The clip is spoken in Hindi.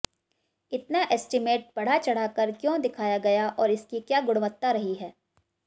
इतना एस्टीमेट बढ़ा चढ़ाकर क्यों दिखाया गया और इसकी क्या गुणवत्ता रही है